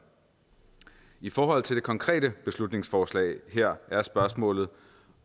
i forhold til det konkrete beslutningsforslag her er spørgsmålet